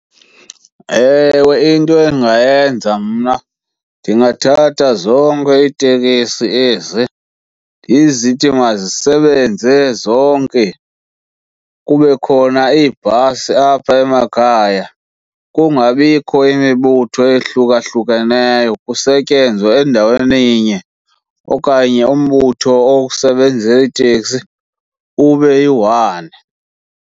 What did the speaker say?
Ewe, into endingayenza mna ndingathatha zonke iitekisi ezi ndizithi mazisebenze zonke, kube khona iibhasi apha emakhaya kungabikho imibutho ehlukahlukeneyo kusetyenzwe endaweninye okanye umbutho osebenza iteksi ube yiwani.